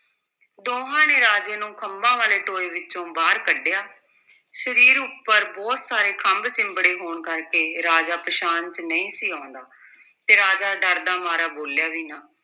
ਦੋਹਾਂ ਨੇ ਰਾਜੇ ਨੂੰ ਖੰਭਾਂ ਵਾਲੇ ਟੋਏ ਵਿੱਚੋਂ ਬਾਹਰ ਕੱਢਿਆ, ਸਰੀਰ ਉੱਪਰ ਬਹੁਤ ਸਾਰੇ ਖੰਭ ਚਿੰਬੜੇ ਹੋਣ ਕਰਕੇ ਰਾਜਾ ਪਛਾਣ 'ਚ ਨਹੀਂ ਸੀ ਆਉਂਦਾ ਤੇ ਰਾਜਾ ਡਰਦਾ ਮਾਰਿਆ ਬੋਲਿਆ ਵੀ ਨਾ।